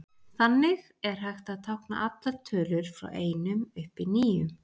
Þannig er hægt að tákna allar tölur frá einum upp í níu.